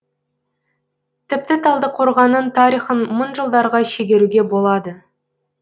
тіпті талдықорғанның тарихын мың жылдарға шегеруге болады